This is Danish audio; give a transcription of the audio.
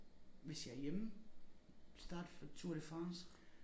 Hvis jeg er hjemme starte for Tour de France